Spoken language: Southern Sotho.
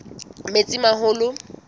metsimaholo